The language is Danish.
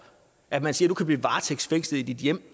at man siger at du kan blive varetægtsfængslet i dit hjem